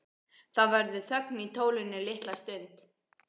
Það verður þögn í tólinu litla stund.